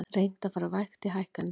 Reynt að fara vægt í hækkanir